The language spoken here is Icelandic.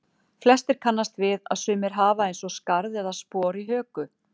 Flestir kannast við að sumir hafa eins og skarð eða spor í höku.